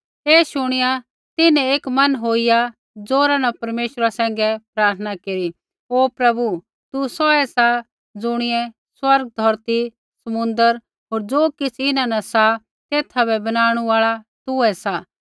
ऐ शुणिआ तिन्हैं एक मन होईया ज़ोरा न परमेश्वरा सैंघै प्रार्थना केरी हे प्रभु तू सौऐ सा ज़ुणियै स्वर्ग धौरती समुन्द्र होर ज़ो किछ़ इन्हां न सा तेथा बै बनाणु आल़ा तूहै सा